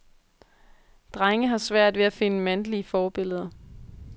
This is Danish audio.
Drenge har svært ved at finde mandlige forbilleder.